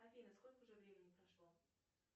афина сколько уже времени прошло